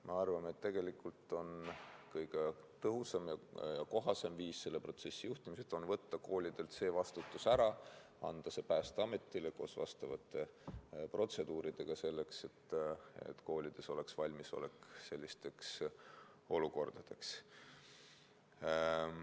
Ma arvan, et tegelikult kõige tõhusam ja kohasem viis selle protsessi juhtimiseks on võtta koolidelt see vastutus, anda see Päästeametile koos vastavate protseduuridega, selleks et koolides oleks sellisteks olukordadeks valmisolek.